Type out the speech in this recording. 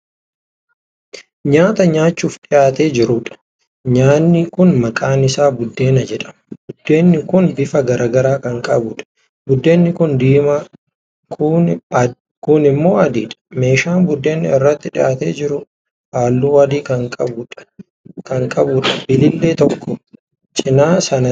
Nyaata nyaachuuf dhiyaatee jiruudha. nyaanni kuni maqaan Isaa buddeena jedhama. buddeenni kin bifa garagaraa Kan qabuudha. buddeenni kuun diimaa kuun immoo adiidha. meeshaan buddeenni irratti dhiyaatee jiru halluu adii Kan qabuudha bilbilee tokko cinaa sana taa'ee jiru.